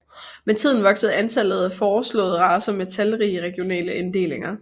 Med tiden voksede antallet af foreslåede racer med talrige regionale inddelinger